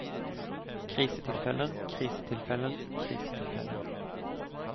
krisetilfeller krisetilfeller krisetilfeller